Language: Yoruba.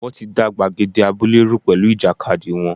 Wọ́n ti da gbàgede abúlé rú pẹ̀lú ìjàkadì wọn.